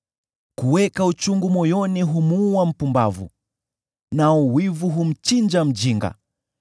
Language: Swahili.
Kuweka uchungu moyoni humuua mpumbavu, nao wivu humchinja mjinga.